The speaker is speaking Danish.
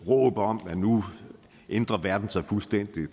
råb om at nu ændrer verden sig fuldstændig